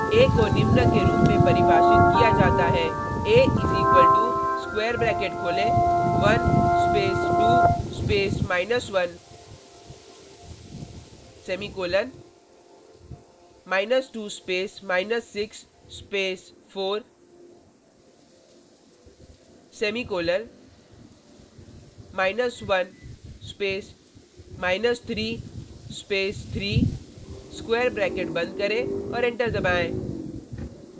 a को निम्न के रूप में परिभाषित किया जाता है a = स्क्वेर ब्रैकेट खोलें 1 space 2 space 1 semicolon 2 space 6 space 4 semicolon 1 space 3 space 3 square bracket बंद करें और एंटर दबाएँ